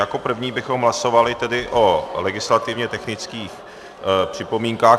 Jako první bychom hlasovali tedy o legislativně technických připomínkách.